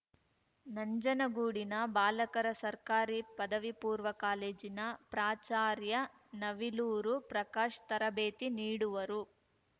ನಂಜನಗೂಡಿನ ಬಾಲಕರ ಸರ್ಕಾರಿ ಪದವಿ ಪೂರ್ವ ಕಾಲೇಜಿನ ಪ್ರಾಚಾರ್ಯ ನವಿಲೂರು ಪ್ರಕಾಶ್‌ ತರಬೇತಿ ನೀಡುವರು